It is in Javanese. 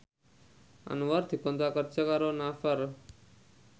Anwar dikontrak kerja karo Naver